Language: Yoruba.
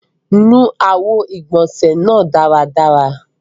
Nù awọ̀ igbọ́nse nàà daradara!